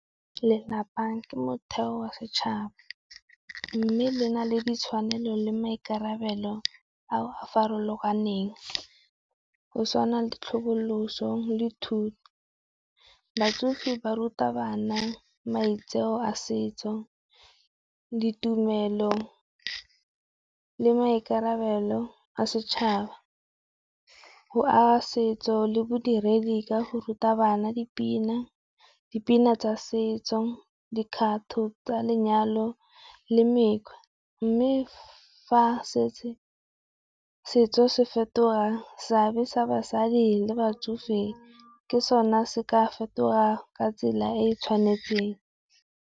Lelapa ke motheo wa setšhaba, mme le na le ditshwanelo le maikarabelo a a farologaneng. Go tshwana le tlhoboloso le thuto, batsofe ba ruta bana maitseo a setso, ditumelo le maikarabelo a setšhaba. G aga setso le bodiredi ka go ruta bana dipina, dipina tsa setso, dikgato tsa lenyalo le mekgwa. Mme fa setse setso se fetoga seabe sa basadi le batsofe ke sone se ka fetogang ka tsela e e tshwanetseng.